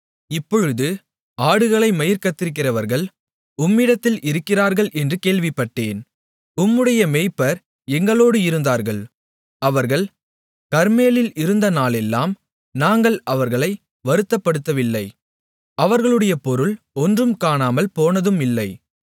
இப்பொழுது ஆடுகளை மயிர் கத்தரிக்கிறவர்கள் உம்மிடத்தில் இருக்கிறார்கள் என்று கேள்விப்பட்டேன் உம்முடைய மேய்ப்பர் எங்களோடு இருந்தார்கள் அவர்கள் கர்மேலில் இருந்த நாளெல்லாம் நாங்கள் அவர்களை வருத்தப்படுத்தவில்லை அவர்களுடைய பொருள் ஒன்றும் காணாமல் போனதும் இல்லை